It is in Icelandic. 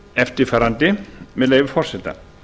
eftirfarandi með leyfi forseta